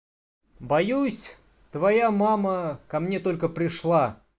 боюсь твоя мама ко мне только пришла